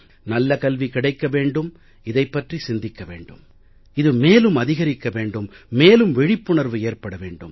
நல்ல கல்வி கிடைக்க வேண்டும் இதைப் பற்றி சிந்திக்க வேண்டும் இது மேலும் அதிகரிக்க வேண்டும் மேலும் விழிப்புணர்வு ஏற்பட வெண்டும்